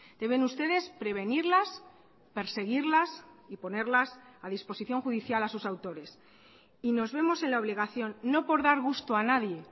deben ustedes prevenirlas perseguirlas y ponerlas a disposición judicial a sus autores y nos vemos en la obligación no por dar gusto a nadie